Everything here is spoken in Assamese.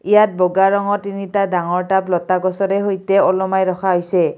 ইয়াত বগা ৰঙৰ তিনিটা ডাঙৰ টাব লতা গছৰে সৈতে ওলমাই ৰখা হৈছে।